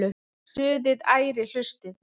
Suðið ærir hlustirnar.